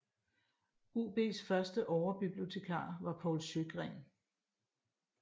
UBs første Overbibliotekar var Paul Sjögren